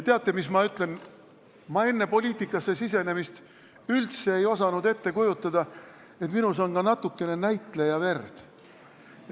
Teate, mis ma ütlen: ma enne poliitikasse tulemist ei osanud üldse ette kujutada, et minus on ka natukene näitlejaverd.